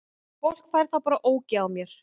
Fólk fær þá bara ógeð á mér.